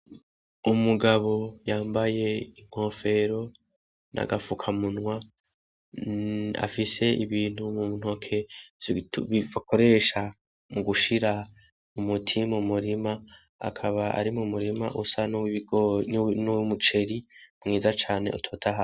Umugabo yambaye inkofero n'agafukamunwa, afise ibintu mu ntoke bakoresha mu gushira umuti mu murima, akaba ari mu murima usa nuw'umuceri mwiza cane utotahaye.